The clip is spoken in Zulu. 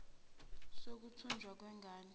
sokuthunjwa kwen gane